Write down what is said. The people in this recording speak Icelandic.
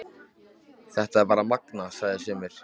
Þetta er það magnaða, segja sumir.